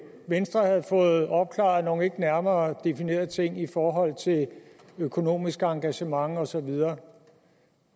venstre havde fået opklaret nogle ikke nærmere definerede ting i forhold til økonomisk engagement og så videre